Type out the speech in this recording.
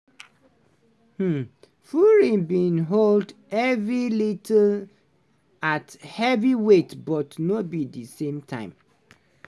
um fury bin hold evri little at heavyweight but no be di same time.